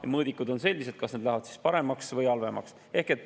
Ja mõõdikud, kas need lähevad paremaks või halvemaks.